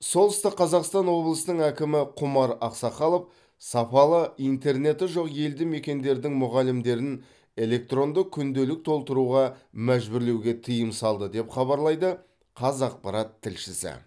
солтүстік қазақстан облысының әкімі құмар ақсақалов сапалы интернеті жоқ елді мекендердің мұғалімдерін электронды күнделік толтыруға мәжбүрлеуге тыйым салды деп хабарлайды қазақпарат тілшісі